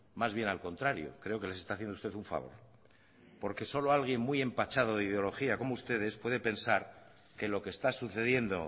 más bien al contrario creo que les está haciendo usted un favor porque solo alguien muy empachado de ideología como ustedes puede pensar que lo que está sucediendo